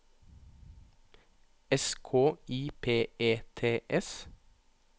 S K I P E T S